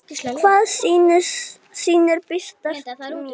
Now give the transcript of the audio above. Hvaða sýnir birtast mér?